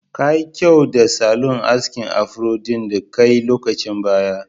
Kayi kyau da salon askin afro ɗin da kai lokacin baya.